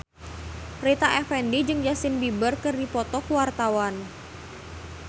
Rita Effendy jeung Justin Beiber keur dipoto ku wartawan